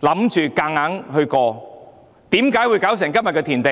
以為可以強行通過，又怎會弄至今時今日的田地？